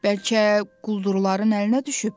Bəlkə quldurların əlinə düşüb.